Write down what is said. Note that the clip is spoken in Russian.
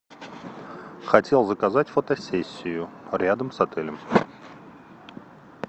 хотел заказать фотосессию рядом с отелем